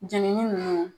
Jenini ninnu